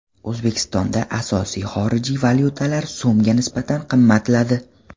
O‘zbekistonda asosiy xorijiy valyutalar so‘mga nisbatan qimmatladi .